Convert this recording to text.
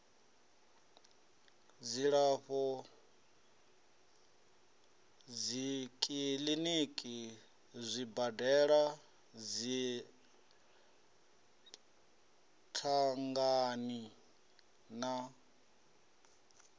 dzilafho dzikiḽiniki zwibadela dziṅangani na